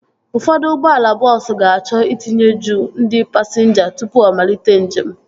Ụfọdụ ụgbọala bọọsu ga-achọ itinye juu ndị pasinja tụpụ ọ malite njem